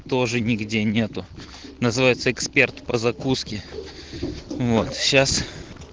тоже нигде нету называется эксперт по закуске вот сейчас